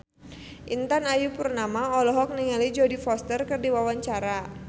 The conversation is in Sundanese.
Intan Ayu Purnama olohok ningali Jodie Foster keur diwawancara